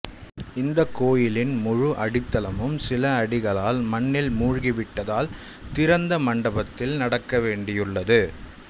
இந்த கோயிலின் முழு அடித்தளமும் சில அடிகளால் மண்ணில் மூழ்கிவிட்டதால் திறந்த மண்டபத்தில் நடக்கவேண்டியுள்ளது